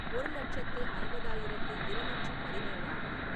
ஒரு லட்சத்து ஐம்பதாயிரத்து இருநூற்று பதினேழாவது